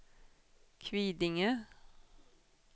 Kvidinge